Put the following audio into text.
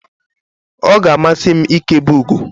ọ ga-amasị m ịkebe ugo